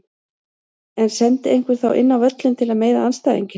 En sendi einhver þá inn á völlinn til að meiða andstæðinginn?